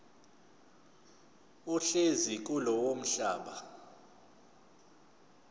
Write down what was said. ohlezi kulowo mhlaba